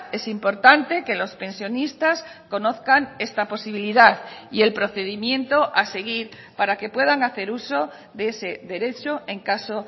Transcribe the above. es importante que los pensionistas conozcan esta posibilidad y el procedimiento a seguir para que puedan hacer uso de ese derecho en caso